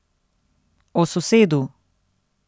O sosedu.